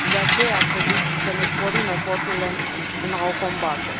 De aceea, ar trebui să ne sporim eforturile în a o combate.